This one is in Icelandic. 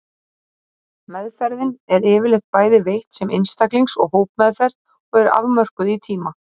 Meðferðin er yfirleitt bæði veitt sem einstaklings og hópmeðferð og er afmörkuð í tíma.